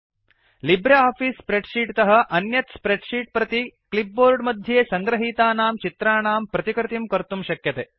LibreOffice spreadsheet तः अन्यत् spreadsheet प्रति क्लिप् बोर्ड् मध्ये संगृहीतानां चित्राणां प्रतिकृतिं कर्तुं शक्यते